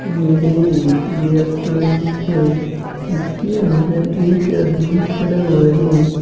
यह एक रेस्टोरेंट है इसके अंदर एक आदमी खड़ा हुआ है।